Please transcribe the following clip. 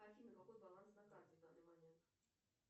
афина какой баланс на карте в данный момент